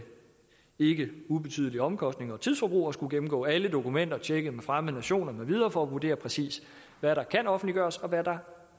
ikke ubetydelige omkostninger og tidsforbrug at skulle gennemgå alle dokumenter tjekke med fremmede nationer med videre for at vurdere præcis hvad der kan offentliggøres og hvad der